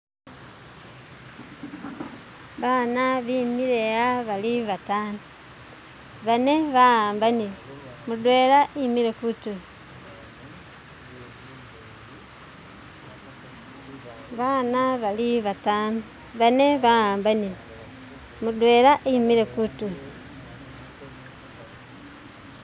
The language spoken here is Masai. baana bimile aa bali batano banne baambanile mutwela wimile kuntulo, baana bimile aa bali batano banne baambanile mutwela wimile kuntulo.